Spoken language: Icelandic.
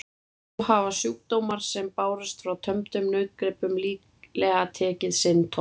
Þá hafa sjúkdómar sem bárust frá tömdum nautgripum líklega tekið sinn toll.